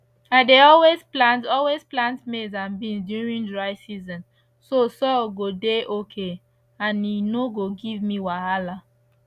i dey always plant always plant maize and beans during dry season so soil go dey okay and e no go give me wahala